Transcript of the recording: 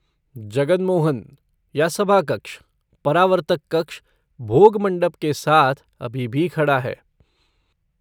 जगन मोहन, या सभा कक्ष, परावर्तक कक्ष, भोग मंडप के साथ, अभी भी खड़ा है।